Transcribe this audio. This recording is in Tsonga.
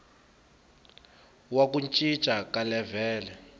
wa ku cinca ka levhele